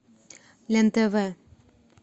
лен тв